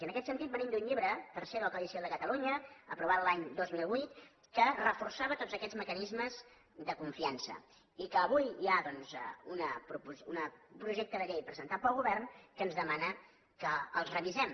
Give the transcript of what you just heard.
i en aquest sentit venim d’un llibre tercer del codi civil de catalunya aprovat l’any dos mil vuit que reforçava tots aquests mecanismes de confiança i avui hi ha doncs un projecte de llei presentat pel govern que ens demana que els revisem